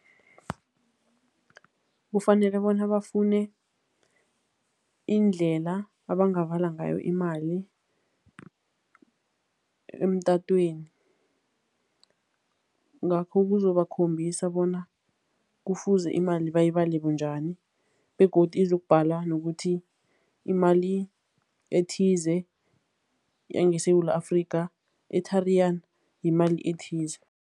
Kufanele bona bafune indlela abangabala ngayo imali emtatweni, ngakho kuzobakhombisa bona kufuze imali bayibale bunjani begodu izokubhala nokuthi imali ethize yangeSewula Afrika, e-Tariyani yimali ethize.